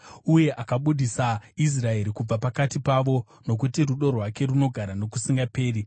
uye akabudisa Israeri kubva pakati pavo, Nokuti rudo rwake runogara nokusingaperi.